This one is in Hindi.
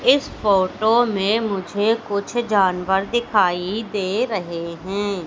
इस फोटो में मुझे कुछ जानवर दिखाई दे रहे हैं।